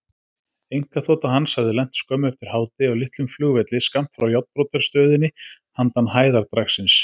Einkaþota hans hafði lent skömmu eftir hádegi á litlum flugvelli skammt frá járnbrautarstöðinni handan hæðardragsins.